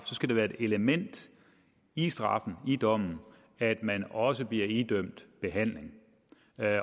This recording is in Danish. skal det være et element i straffen i dommen at man også bliver idømt behandling